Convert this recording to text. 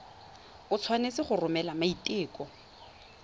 o tshwanetse go romela maiteko